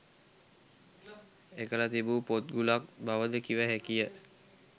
එකල තිබූ පොත්ගුලක් බවද කිව හැකිය.